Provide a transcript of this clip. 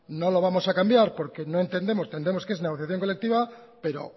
no lo vamos a cambiar porque no entendemos entendemos que es negociación colectiva pero